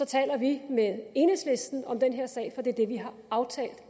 taler vi med enhedslisten om den her sag for det er det vi har aftalt